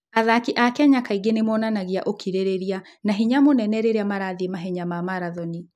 Athaki a Kenya kaingĩ nĩ monanagia ũkirĩrĩria na hinya mũnene rĩrĩa marathiĩ mahenya ma marathoni.